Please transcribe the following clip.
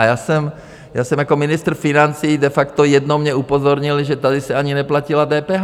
A já jsem jako ministr financí, de facto jednou mě upozornili, že tady se ani neplatila DPH.